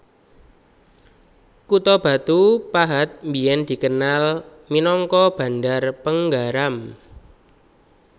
Kutha Batu Pahat biyèn dikenal minangka Bandar Penggaram